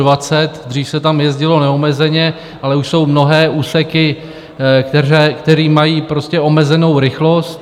Dřív se tam jezdilo neomezeně, ale už jsou mnohé úseky, které mají omezenou rychlost.